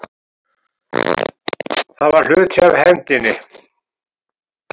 Það var hluti af hefndinni.